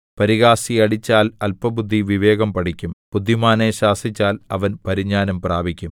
പരിഹാസിയെ അടിച്ചാൽ അല്പബുദ്ധി വിവേകം പഠിക്കും ബുദ്ധിമാനെ ശാസിച്ചാൽ അവൻ പരിജ്ഞാനം പ്രാപിക്കും